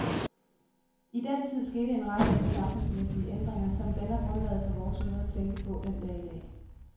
I den tid skete en række af de samfundsmæssige ændringer, som danner grundlaget for vores måde at tænke på den dag i dag.